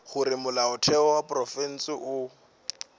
gore molaotheo wa profense o